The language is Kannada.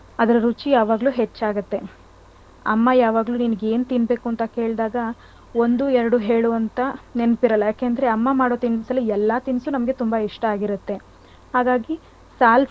ಅದ್ರ್ ರುಚಿ ಯಾವಾಗ್ಲೂ ಹೆಚ್ಚ್ಗುತ್ತೆ. ಅಮ್ಮ ಯಾವಾಗ್ಲೂ ನಿನಗೇನ್ ತಿನ್ಬೇಕು ಅಂತ ಕೇಳ್ದಗಾ ಒಂದು ಎರಡು ಹೇಳು ಅಂತ ನೆನಪಿರಲ್ಲ ಯಾಕೆಂದ್ರೆ ಅಮ್ಮ ಮಾಡೋ ತಿನ್ಸಲ್ಲಿ ಎಲ್ಲ ತಿನ್ಸು ನಮಗೆ ತುಂಬ ಇಷ್ಟ ಆಗಿರುತ್ತೆ. ಹಾಗಾಗಿ ಸಲ್~ ಸಾಲು ಎಷ್ಟ್,